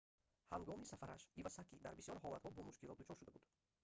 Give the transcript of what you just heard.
ҳангоми сафараш ивасаки дар бисёр ҳолатҳо бо мушкилот дучор шуда буд